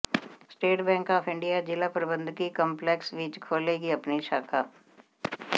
state bank of India ਜਿਲਾ ਪ੍ਰਬੰਧਕੀ complex ਵਿੱਚ ਖੋਲੇਗੀ ਆਪਣੀ ਸ਼ਾਖਾ